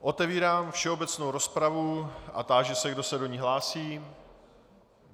Otevírám všeobecnou rozpravu a táži se, kdo se do ní hlásí.